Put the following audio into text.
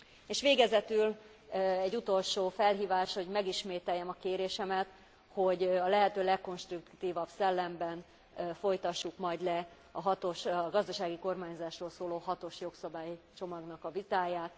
És végezetül egy utolsó felhívás, hogy megismételjem a kérésemet, hogy a lehető legkonstruktívabb szellemben folytassuk majd le a gazdasági kormányzásról szóló hatos jogszabálycsomagnak a vitáját.